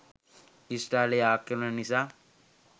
ඊශ්‍රායලයේ ආක්‍රමණ නිසා